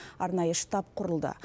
арнайы штаб құрылды